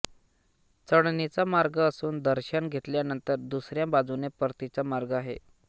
चढणीचा मार्ग असून दर्शन घेतल्यानंतर दुसऱ्या बाजूने परतीचा मार्ग आहे